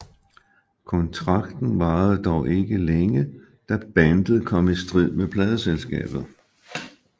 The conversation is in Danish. Kontrakten varede dog ikke længe da bandet kom i strid med pladeselskabet